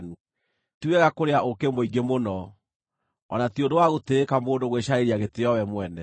Ti wega kũrĩa ũũkĩ mũingĩ mũno, o na ti ũndũ wa gũtĩĩka mũndũ gwĩcarĩria gĩtĩĩo we mwene.